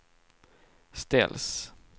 ställs